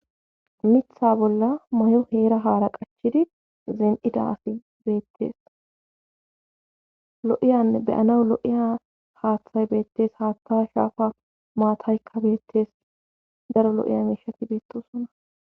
mitha bolla mayo heera haara qachchidi zin7ida asi beettees lo7iyanne be7anawu lo7iya haaththay beettes haatta shaafa maataykka beettees daro lo7iya miishati beettosona.